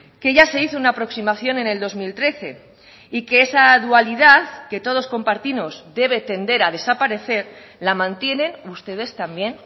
que ya se hizo una aproximación en el dos mil trece y que esa dualidad que todos compartimos debe tender a desaparecer la mantienen ustedes también